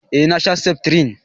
eh na sha seftrin